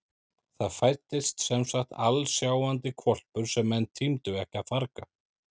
Það fæddist semsagt alsjáandi hvolpur sem menn tímdu ekki að farga.